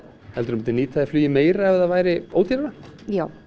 helduru myndir nýta þér flugið meira ef það væri ódýrara já